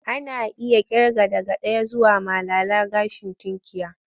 Ana iya ƙirga daga ɗaya zuwa malala gashin tunkiya.